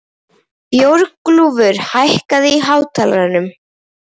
Björgúlfur, hækkaðu í hátalaranum.